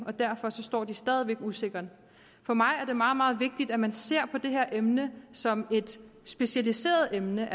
og derfor står de stadig væk usikkert for mig er det meget meget vigtigt at man ser på det her emne som et specialiseret emne